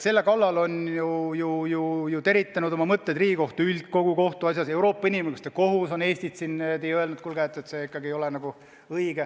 Selle kallal on teritanud mõtteid Riigikohtu üldkogu ühes kohtuasjas, Euroopa Inimõiguste Kohus on Eestile öelnud, et kuulge, see ikkagi ei ole õige.